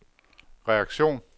reaktion